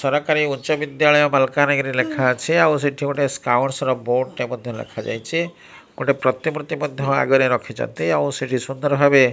ସରକାରୀ ଉଚ୍ଚ ବିଦ୍ୟାଳୟ ମାଲକାନାଗିରି ଲେଖାଅଛି ଆଉ ସେଠି ଗୋଟେ ସ୍କାଉଟ୍ସ୍ ର ବୋର୍ଡ଼ ଟେ ମଧ୍ୟ ଲେଖାଯାଇଛି ଗୋଟେ ପ୍ରତିମୂର୍ତ୍ତି ମଧ୍ୟ ଆଗରେ ରଖିଚନ୍ତି ଆଉ ସେଠି ସୁନ୍ଦର ଭାବେ --